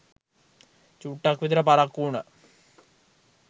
චුට්ටක් විතර පරක්කු උනා